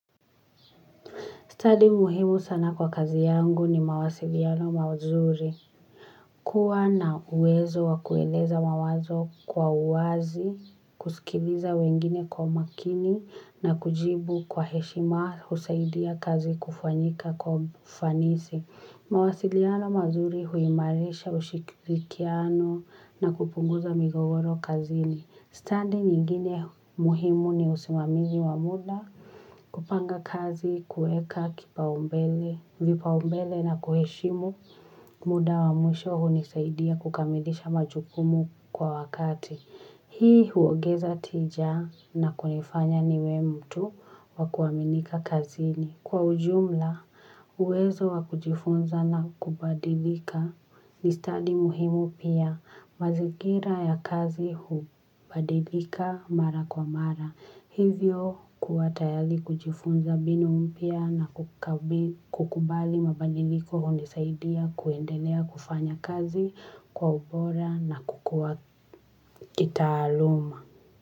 Study muhimu sana kwa kazi yangu ni mawasiliano mazuri. Kua na uwezo wa kueleza mawazo kwa uwazi, kusikiliza wengine kwa umakini na kujibu kwa heshima husaidia kazi kufanyika kwa ufanisi. Mawasiliano mawazuri huimarisha ushikirikiano na kupunguza migogoro kazini. Standi nyingine muhimu ni usimamizi wa muda kupanga kazi kuweka vipaumbele na kuheshimu muda wa mwisho hunisaidia kukamilisha majukumu kwa wakati. Hii huongeza tija na kunifanya niwe mtu wa kuaminika kazini kwa ujumla, uwezo wa kujifunza na kubadilika. Ni stadi muhimu pia, mazingira ya kazi hubadilika mara kwa mara. Hivyo, kua tayari kujifunza mbinu umpya na kukubali mabadiliko hundisaidia kuendelea kufanya kazi kwa ubora na kukua kitaaluma.